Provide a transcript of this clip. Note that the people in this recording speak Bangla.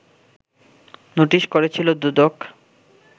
নোটিশ করেছিল দুদক